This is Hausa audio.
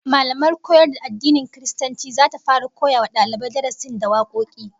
Mallamar koyar da addinin Kiristanci zata fara koyawa dalibai darasin da wakoki